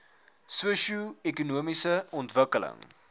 sosio ekonomiese ontwikkeling